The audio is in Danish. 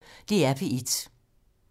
DR P1